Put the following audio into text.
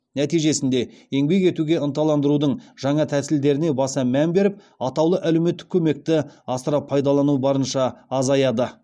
нәтижесінде еңбек етуге ынталандырудың жаңа тәсілдеріне баса мән беріп атаулы әлеуметтік көмекті асыра пайдалану барынша азаяды